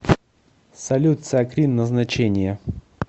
салют циакрин назначение